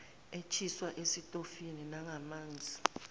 eshiswa esitofini nangamanzi